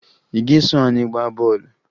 Ị ga-eso anyị gbaa bọọlụ?